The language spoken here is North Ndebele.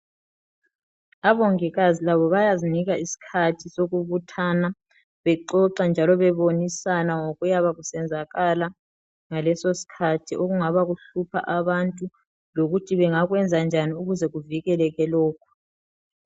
Abongikazi labo bayazinika isikhathi sokubuthana bexoxa njalo bebonisana ngokuyabe kusenzakala ngaleso sikhathi okungaba kuhlupha abantu lokuthi bengakwenza njani ukuze kuvikeleke lokhu.